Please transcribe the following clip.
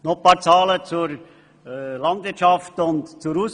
Nun noch ein paar Zahlen zur Landwirtschaft und zur Ausbildung: